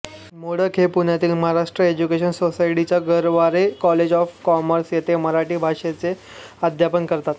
मोडक या पुण्यातील महाराष्ट्र एज्युकेशन सोसायटीच्या गरवारे कॉलेज ऑफ कॉमर्स येथे मराठी भाषेचे अध्यापन करतात